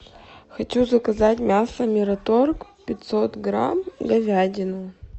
хочу заказать мясо мираторг пятьсот грамм говядину